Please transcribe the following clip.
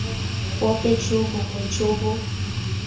bope jo bongwe jo bo